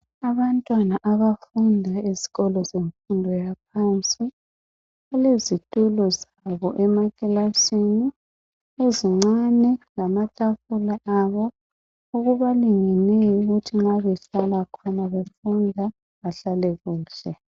Abantwana abafunda ezikolo zemfundo yaphansi balezitulo zabo emaklasini ezincane lamatafula abo okubalingeneyo ukuthi nxa behlala khona befunda bahlale kuhle .